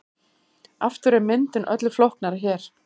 Aftur er myndin öllu flóknari hér.